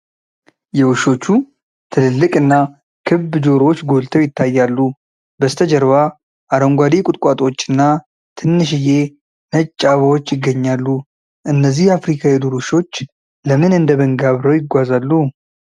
የውሾቹ ትልልቅና ክብ ጆሮዎች ጎልተው ይታያሉ፤ በስተጀርባ አረንጓዴ ቁጥቋጦዎችና ትንሽዬ ነጭ አበባዎች ይገኛሉ። እነዚህ የአፍሪካ የዱር ውሾች ለምን እንደ መንጋ አብረው ይጓዛሉ?